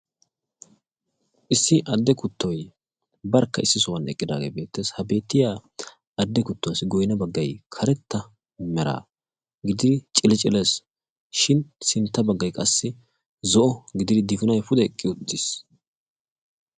issi adde kuttoy barkka eqqidaage beettes. ha beettiya adde kuttuwaassi goyina baggay karetta mera gididi ciciciles shin sintta baggay qassi zo'o gididi difinoy pude eqqi uttis.